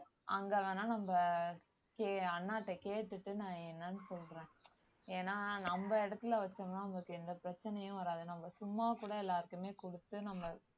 அங்க வேணா நம்ம கே~ அண்ணாட்ட கேட்டுட்டு நான் என்னன்னு சொல்றேன் ஏன்னா நம்ம இடத்துல வச்சோம்ன்னா அவங்களுக்கு எந்த பிரச்சனையும் வராது நம்ம சும்மா கூட எல்லாருக்குமே குடுத்து நம்ப